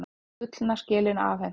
Gullna skelin afhent